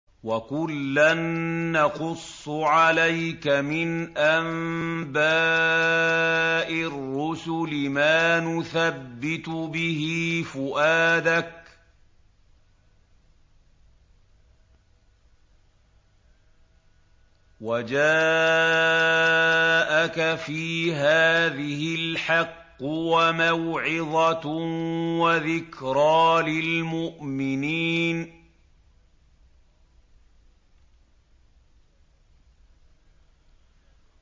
وَكُلًّا نَّقُصُّ عَلَيْكَ مِنْ أَنبَاءِ الرُّسُلِ مَا نُثَبِّتُ بِهِ فُؤَادَكَ ۚ وَجَاءَكَ فِي هَٰذِهِ الْحَقُّ وَمَوْعِظَةٌ وَذِكْرَىٰ لِلْمُؤْمِنِينَ